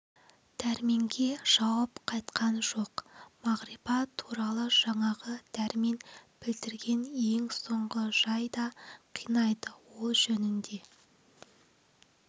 дәрменге жауап қайтқан жоқ мағрипа туралы жаңағы дәрмен білдірген ең соңғы жай да қинайды ол жөнінде